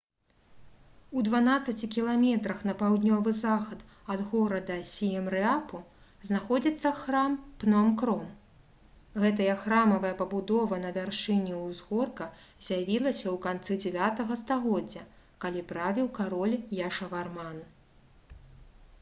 у 12 км на паўднёвы захад ад горада сіемрэапу знаходзіцца храм пном-кром гэтая храмавая пабудова на вяршыні ўзгорка з'явілася ў канцы 9 стагоддзя калі правіў кароль яшаварман